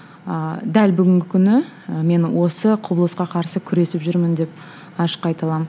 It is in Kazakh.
ыыы дәл бүгінгі күні і мен осы құбылысқа қарсы күресіп жүрмін деп ашық айта аламын